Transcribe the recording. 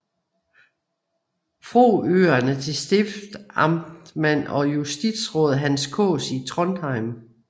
Froøerne til stiftsamtsmand og justisråd Hans Kaas i Trondheim